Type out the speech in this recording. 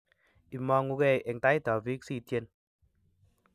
Imoongukei eng tait ab biik sityen